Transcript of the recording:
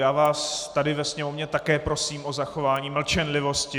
Já vás tady ve sněmovně také prosím o zachování mlčenlivosti...